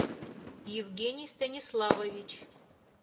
евгений станиславович